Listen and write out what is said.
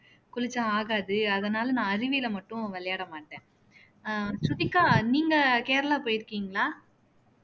குளிச்சான் ஆகாது அதனால நான் அருவியில மட்டும் விளையாட மாட்டேன் அஹ் ஸ்ருதிகா நீங்க கேரளா போயிருக்கீங்களா